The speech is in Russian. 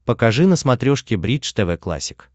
покажи на смотрешке бридж тв классик